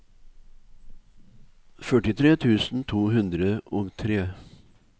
førtitre tusen to hundre og tre